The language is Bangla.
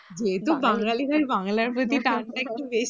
যেহেতু বাঙালি তাই বাংলার প্রতি টানটাই একটু